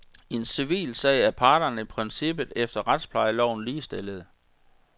I en civilsag er parterne i princippet efter retsplejeloven ligestillede.